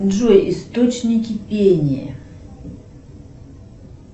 джой источники пения